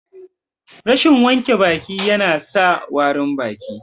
Rashin wanke baki ya na sa warin baki